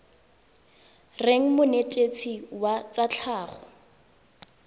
reng monetetshi wa tsa tlhago